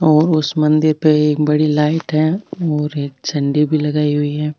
और उस मंदिर पे एक बड़ी लाइट है और एक झंडी भी लगाई हुई है।